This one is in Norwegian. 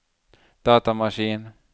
datamaskin